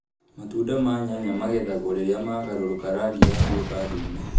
Matunda ma nyanya magethagwo rĩrĩa magarũrũka rangi yatũĩka ndune.